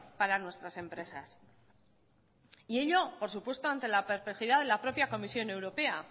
para nuestras empresas y ello por supuesto ante la perplejidad de la propia comisión europea